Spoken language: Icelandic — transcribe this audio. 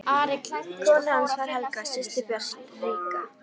Kona hans var Helga, systir Björns ríka.